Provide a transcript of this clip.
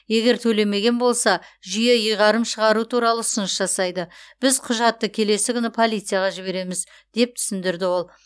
егер төлемеген болса жүйе ұйғарым шығару туралы ұсыныс жасайды біз құжатты келесі күні полицияға жібереміз деп түсіндірді ол